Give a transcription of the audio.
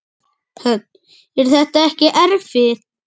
Hödd: Er þetta ekkert erfitt?